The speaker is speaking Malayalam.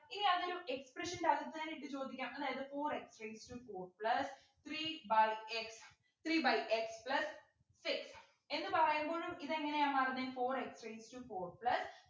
ഇനി അതൊരു expression ൻ്റെ അകത്ത് തന്നെ ഇട്ടു ചോദിക്കാം അതായത് four x raised to four plus three by x three by x plus six എന്ന് പറയുമ്പോഴും ഇതെങ്ങനെയാന്നു പറഞ്ഞെ four x raised to four plus